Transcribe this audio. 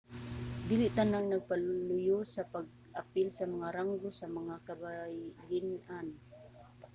dili tanang nagpaluyo sa pag-apil sa mga ranggo sa mga kababayen-an